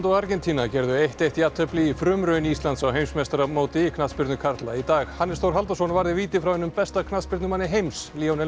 og Argentína gerðu eitt eitt jafntefli í frumraun Íslands á heimsmeistaramóti í knattspyrnu karla í dag Hannes Þór Halldórsson varði víti frá einum besta knattspyrnumanni heims